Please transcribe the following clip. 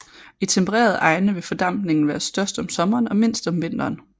I tempererede egne vil fordampningen være størst om sommeren og mindst om vinteren